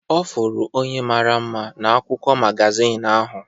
Ọ fụrụ onye mara mma n'akwụkwọ magazin ahụ.